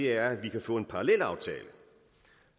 er at vi kan få en parallelaftale